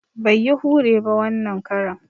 Bai yi hure ba wanan karan